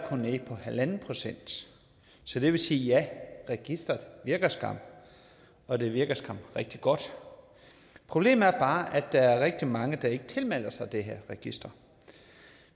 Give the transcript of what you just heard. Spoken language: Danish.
tal er en procent så det vil sige ja registeret virker skam og det virker skam rigtig godt problemet er bare at der er rigtig mange der ikke tilmelder sig det her register